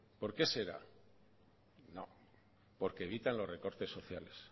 por qué será porque evitan los recortes sociales